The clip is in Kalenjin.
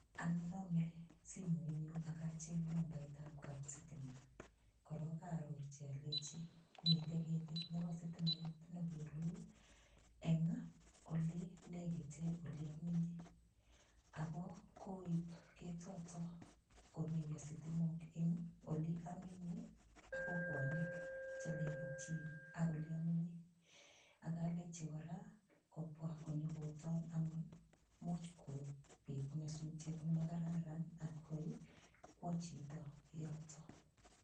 Ayone anyun simoiyu ak acheny nambaitab kapsitima korok aarorchi alechi mitei ketit nebo sitimet nekolul eng olelegite oleamenye. Ako koip ketotok komeiyo sitimok eng oleamenye ak kokwanik chelegitchin ak oleamenye. Aklechi kora kobwa konyokotoon amun much kopit nyasutiet nemakararan atkoi kwo chito yotok.